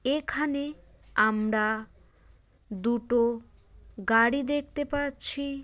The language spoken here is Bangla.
এখানে আমরা দুটো গাড়ি দেখতে পাচ্ছি।